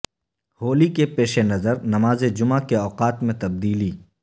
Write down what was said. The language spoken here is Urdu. ہولی کے پیش نظر نماز جمعہ کے اوقات میں تبدیلی